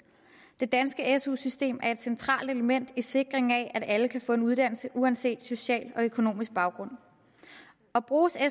det danske su system er et centralt element i sikringen af at alle kan få en uddannelse uanset social og økonomisk baggrund og bruges